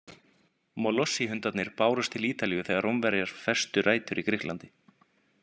Molossi-hundarnir bárust til Ítalíu þegar Rómverjar festu rætur í Grikklandi.